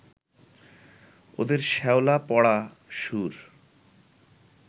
ওদের শ্যাওলা-পড়া সুর